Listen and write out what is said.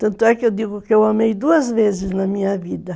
Tanto é que eu digo que eu amei duas vezes na minha vida.